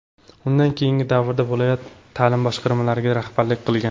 Undan keyingi davrda viloyat ta’lim boshqarmalariga rahbarlik qilgan.